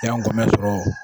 Yango n mɛn sɔrɔ